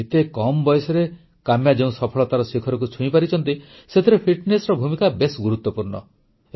ଏତେ କମ୍ ବୟସରେ କାମ୍ୟା ଯେଉଁ ସଫଳତାର ଶିଖରକୁ ଛୁଇଁପାରିଛନ୍ତି ସେଥିରେ Fitnessର ଭୂମିକା ବେଶ୍ ଗୁରୁତ୍ୱପୂର୍ଣ୍ଣ